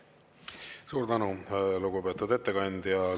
Suur tänu, lugupeetud ettekandja!